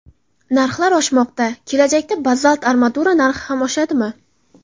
Narxlar oshmoqda, kelajakda bazalt armatura narxi ham oshadimi?